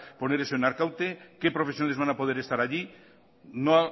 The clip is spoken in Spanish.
poner eso en arkaute qué profesiones van a poder estar allí no